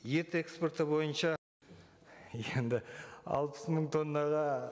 ет эскпорты бойынша енді алпыс мың тоннаға